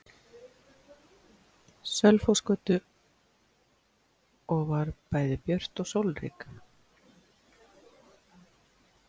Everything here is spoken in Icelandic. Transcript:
Sölvhólsgötu og var bæði björt og sólrík.